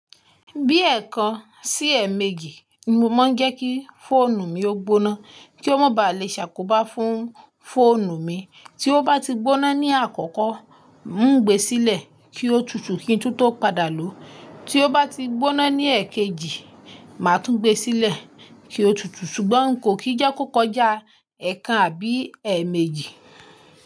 Bí ẹ̀ẹ̀kan sí ẹ́ẹ̀méjì ni mo máa ń jẹ́ kí fóònù mi ó gbóná kí ó má ba à le ṣàkóbá fún fóònù mi. Tí ó bá ti gbóná ní àkọ́kọ́, ń o gbe sílẹ̀ kí ó tutù kí n tún tó padà lò ó. Tí ó bá ti gbóná ní ẹ́ẹ̀kejì, màá tún gbe sílẹ̀ kí ó tutù ṣùgbọ́n n kò kí jẹ́ kó kọjá ẹ́ẹ̀kan àbí ẹ́ẹ̀méjì.